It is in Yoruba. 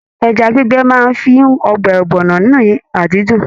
Ẹja gbígbẹ máa n fún ọbẹ ọgbọnọ ní adídun.